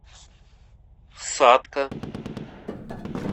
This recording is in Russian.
сатка